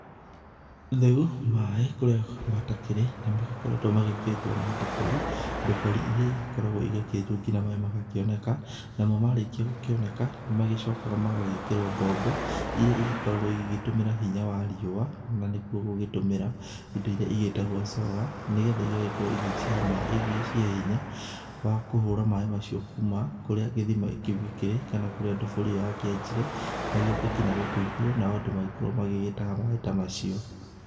Rĩu maaĩ kũrĩa matakĩrĩ nĩmagĩkoretwo makĩenjwo na ndobori, ndobori iria cigĩkoragwo cigĩkĩenjwo nginya maaĩ magakĩoneka. Namo marĩkia gũgĩkĩoneka nĩmagĩcokaga magagĩkĩrwo mbombo, iria cigĩkoragwo cikĩhũthĩra hinya wa riũwa, na nĩkuo gũgĩtũmĩra indo iria cigĩtagwo solar na nĩgetha cigagĩkorwo cigĩcihe hinya wa kũhũra maaĩ macio, kuma kũrĩa gĩthima kĩu gĩgĩkĩrĩ kana kũrĩa ndobori ĩyo yakĩenjire magĩũke nginya gũkũ igũrũ nao andũ magagĩkorwo magĩtaha maaĩ ta macio.